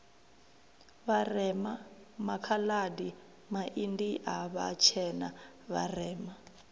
vharema makhaladi maindia vhatshena vharema